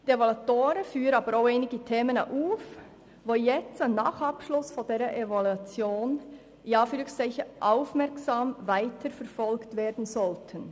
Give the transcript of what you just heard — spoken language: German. Die Evaluation führt aber auch einige Themen auf, die nun aufmerksam weiterverfolgt werden sollten.